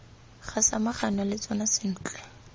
ga samaganwa le tsona sentle